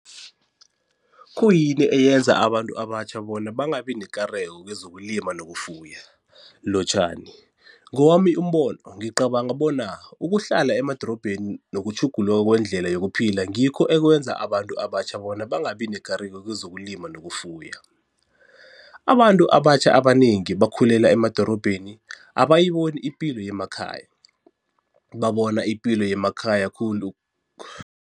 Khuyini eyenza abantu abatjha bona bangabi nekareko kezokulima nokufuya? Lotjhani. Ngowami umbono ngicabanga bona ukuhlala emadorobheni nokutjhuguluka kwendlela yokuphila ngikho ekwenza abantu abatjha bona bangabi nekareko kezokulima nokufuya. Abantu abatjha abanengi bakhulela emadorobheni, abayiboni ipilo yemakhaya, babona ipilo yemakhaya khulu